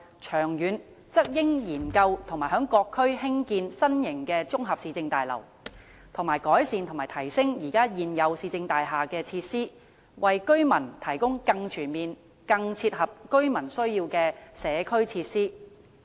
長遠則應研究在各區興建新型綜合市政大樓，以及改善和提升現有市政大廈的設施，為居民提供更全面、更切合居民需要的社區設施。